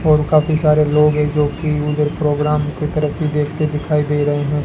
और काफी सारे लोग हैं जोकि उधर प्रोग्राम की तरफ भी देखते दिखाई दे रहे हैं।